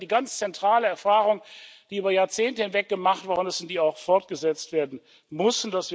Das ist einfach die ganz zentrale Erfahrung, die über Jahrzehnte hinweg gemacht worden ist und die auch fortgesetzt werden muss.